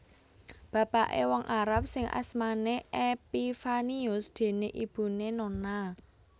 Bapaké wong Arab sing asmané Epifanius déné ibuné Nonna